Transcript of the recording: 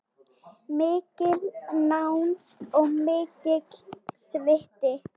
Mikil nánd og mikill sviti.